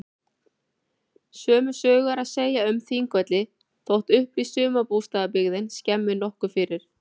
Sömu sögu er að segja um Þingvelli þótt upplýst sumarbústaðabyggðin skemmi nokkuð fyrir.